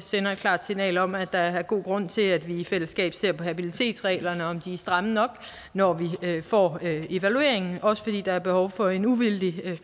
sender et klart signal om at der er god grund til at vi i fællesskab ser på habilitetsreglerne og om de er stramme nok når vi får evalueringen også fordi der er behov for en uvildig